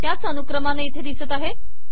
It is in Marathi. त्याच अनुक्रमाने इथे दिसत आहे